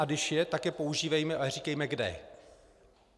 A když ano, tak je používejme, ale říkejme kde.